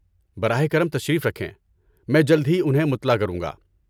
براہ کرم تشریف رکھیں، میں جلد ہی انہیں مطلع کروں گا۔